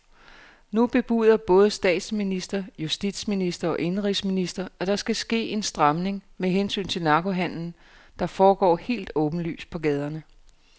Nu bebuder både statsminister, justitsminister og indenrigsminister, at der skal ske en stramning med hensyn til narkohandelen, der foregår helt åbenlyst på gaderne.